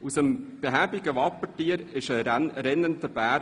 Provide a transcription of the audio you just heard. Aus dem behäbigen Wappentier wurde ein schnell laufender Bär.